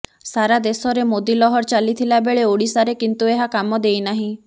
ସାରା ଦେଶରେ ମୋଦି ଲହର ଚାଲିଥିଲାବେଳେ ଓଡ଼ିଶାରେ କିନ୍ତୁ ଏହା କାମ ଦେଇନାହିଁ